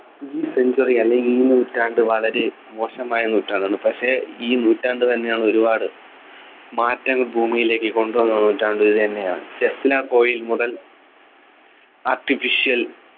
ഈ century അല്ലെങ്കിൽ ഈ നൂറ്റാണ്ട് വളരെ മോശമായ നൂറ്റാണ്ടാണ് പക്ഷേ ഈ നൂറ്റാണ്ട് തന്നെയാണ് ഒരുപാട് മാറ്റങ്ങൾ ഭൂമിയിലേക്ക് കൊണ്ടുവന്ന നൂറ്റാണ്ട് ഇതുതന്നെയാണ് മുതൽ artificial